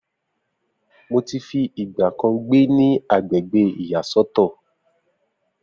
Mo ti fi ìgbà kan gbé ní agbègbè ìyá sọ́tọ̀